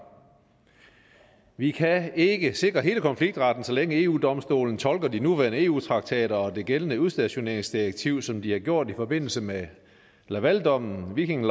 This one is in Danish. vi kan ikke sikre hele konfliktretten så længe eu domstolen tolker de nuværende eu traktater og det gældende udstationeringsdirektiv som de har gjort i forbindelse med lavaldommen viking